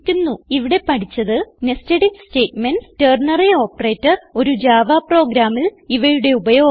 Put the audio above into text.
ഇവിടെ പഠിച്ചത് Nested If statements ternary operator ഒരു ജാവ പ്രോഗ്രാമിൽ ഇവയുടെ ഉപയോഗം